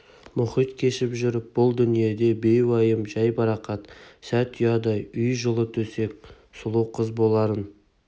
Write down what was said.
мұхитын кешіп жүріп бұл дүниеде бейуайым жайбарақат сәт ұядай үй жылы төсек сұлу қыз боларын